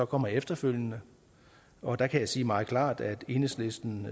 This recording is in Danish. kommer efterfølgende og der kan jeg sige meget klart at enhedslisten